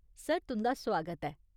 Sir तुं'दा सुआगत ऐ।